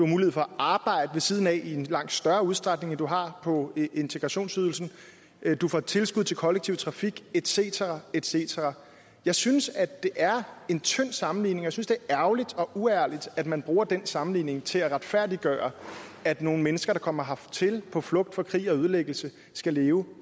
mulighed for at arbejde ved siden af i en langt større udstrækning end du har på integrationsydelsen du får tilskud til kollektiv trafik et cetera et cetera jeg synes at det er en tynd sammenligning og jeg synes det er ærgerligt og uærligt at man bruger den sammenligning til at retfærdiggøre at nogle mennesker der kommer hertil på flugt fra krig og ødelæggelse skal leve